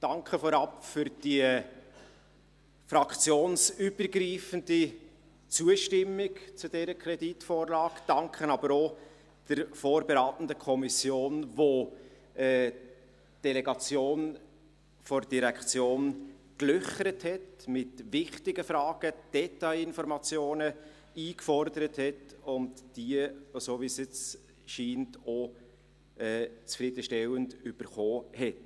Danke vorab für die fraktionsübergreifende Zustimmung zu dieser Kreditvorlage, ein Danke aber auch der vorberatenden Kommission, welche die Delegation der Direktion mit wichtigen Fragen gelöchert hat, Detail informationen eingefordert und – so wie es jetzt scheint – auch zufriedenstellend erhalten hat.